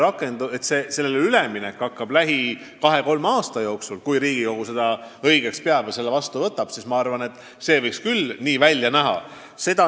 Aga see, et üleminek hakkab lähima kahe-kolme aasta jooksul, kui Riigikogu seda õigeks peab ja selle seaduse vastu võtab, võiks küll võimalik olla.